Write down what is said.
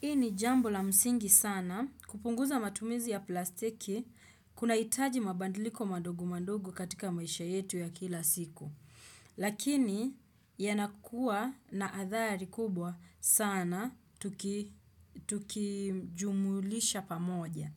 Hii ni jambo la msingi sana kupunguza matumizi ya plastiki kuna hitaji mabadiliko madog madogo katika maisha yetu ya kila siku. Lakini yanakua na athari kubwa sana tukijumulisha pamoja.